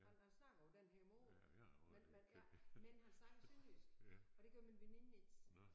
Han han snakkede på den her måde men men ja men han snakkede sønderjysk og det gør min veninde ikke